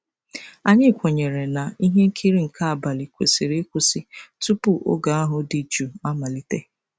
Anyị kwenyere na ihe nkiri nke abalị kwesịrị ịkwụsị tupu oge ahụ dị jụụ amalite.